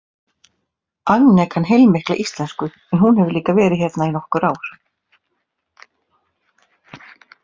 Agne kann heilmikla íslensku en hún hefur líka verið hérna í nokkur ár.